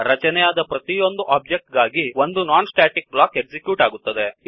ರಚನೆಯಾದ ಪ್ರತಿಯೊಂದು ಒಬ್ಜೆಕ್ಟ್ ಗಾಗಿಯೂ ಒಂದು ನಾನ್ ಸ್ಟ್ಯಾಟಿಕ್ ಬ್ಲಾಕ್ ಎಕ್ಸಿಕ್ಯೂಟ್ ಆಗುತ್ತದೆ